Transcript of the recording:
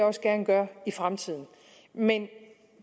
også gerne gøre i fremtiden men